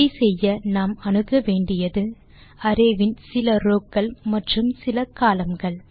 இதை செய்ய நாம் அணுக வேண்டியது அரே வின் சில ரோவ் க்கள் மற்றும் சில columnகள்